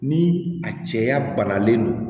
Ni a cɛya banalen don